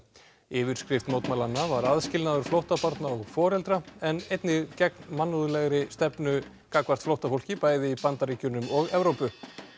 yfirskrift mótmælanna var aðskilnaður flóttabarna og foreldra en einnig gegn mannúðlegri stefnu gagnvart flóttafólki bæði í Bandaríkjunum og Evrópu